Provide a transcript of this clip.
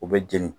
U bɛ jeni